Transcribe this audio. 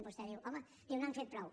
vostè diu home no han fet prou